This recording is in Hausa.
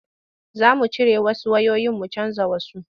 Za mu cire wasu wayoyin mu canja wasu.